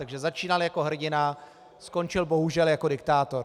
Takže začínal jako hrdina, skončil bohužel jako diktátor.